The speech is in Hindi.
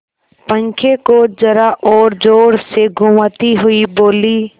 पंखे को जरा और जोर से घुमाती हुई बोली